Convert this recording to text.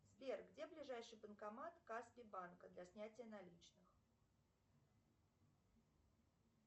сбер где ближайший банкомат каспий банка для снятия наличных